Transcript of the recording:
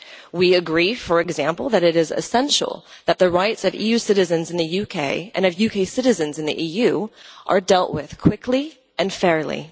We agree, for example, that it is essential that the rights of EU citizens in the UK and of UK citizens in the EU are dealt with quickly and fairly.